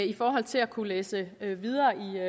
i forhold til at kunne læse videre